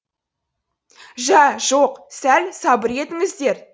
жә жоқ сәл сабыр етіңіздер